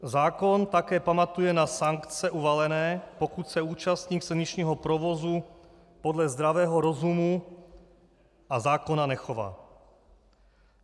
Zákon také pamatuje na sankce uvalené, pokud se účastník silničního provozu podle zdravého rozumu a zákona nechová.